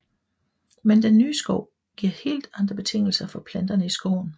Men denne nye skov giver helt andre betingelser for planterne i skoven